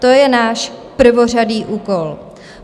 To je náš prvořadý úkol.